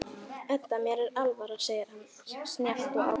Edda, mér var alvara, segir hann snjallt og ákveðið.